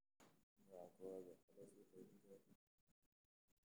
Nooca kowaad waxa loo sii qaybin karaa saddex nooc oo hoose.